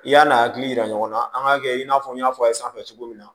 I y'a n'a hakili yira ɲɔgɔn na an k'a kɛ i n'a fɔ n y'a fɔ a ye sanfɛ cogo min na